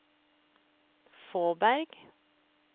Fåberg